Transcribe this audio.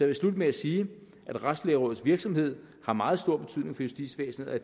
vil slutte med at sige at retslægerådets virksomhed har meget stor betydning for justitsvæsenet og